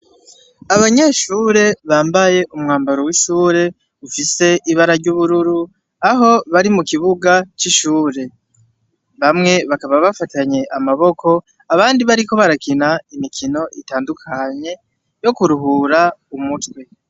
Abanyeshure bambaye umwambaro w'ishure ufise ibara ry'ubururu aho bari mu kibuga c'ishure bamwe bakaba bafatanye amaboko abandi bariko barakina imikino itandukanye yo kuruhura umutwe.